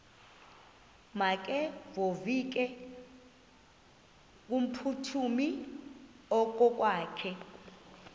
makevovike kumphuthumi okokwakhe